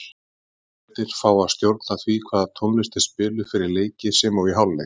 Leikmennirnir fá að stjórna því hvaða tónlist er spiluð fyrir leiki sem og í hálfleik.